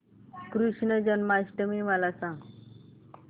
कृष्ण जन्माष्टमी मला सांग